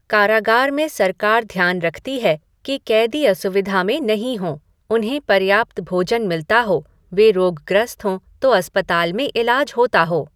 कारागार में सरकार ध्यान रखती है कि कैदी असुविधा में नहीं हों, उन्हे पर्याप्त भोजन मिलता हो, वे रोगग्रस्त हो तो अस्पताल में इलाज होता हो।